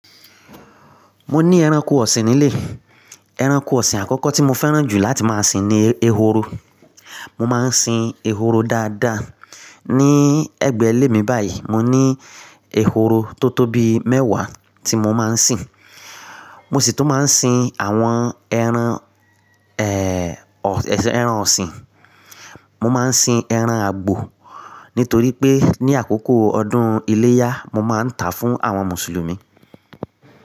Mo ní ẹranko ọ̀sìn nílé. Ẹranko ọ̀sìn àkọ́kọ́ tí mo fẹ́ràn jù láti máa sìn ni ehoro. Mo máa ń sìn ehoro dáadáa. Ni ẹgbẹ́ ilé mi báyìí mo ní ehoro tó tó bi mẹ́wàá tí mo máa ń sìn. Mo sì tún máa ń sìn àwọn ẹran, ẹran ọ̀sìn. Mo máa ń sìn ẹran àgbò nítorí pé ní àkókò ọdún iléyá mo máa ń tà á fún àwọn Mùsùlùmí.